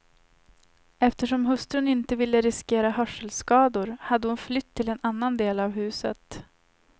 Eftersom hustrun inte ville riskera hörselskador hade hon flytt till en annan del av huset.